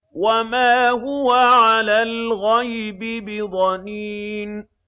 وَمَا هُوَ عَلَى الْغَيْبِ بِضَنِينٍ